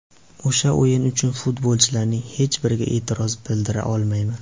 O‘sha o‘yin uchun futbolchilarning hech biriga e’tiroz bildira olmayman.